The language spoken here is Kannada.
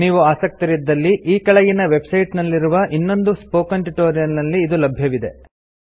ನೀವು ಆಸಕ್ತರಿದ್ದಲ್ಲಿ ಈ ಕೆಳಗಿನ ವೆಬ್ಸೈಟ್ ನಲ್ಲಿರುವ ಇನ್ನೊಂದು ಸ್ಪೋಕನ್ ಟ್ಯುಟೋರಿಯಲ್ ನಲ್ಲಿ ಇದು ಲಭ್ಯವಿದೆ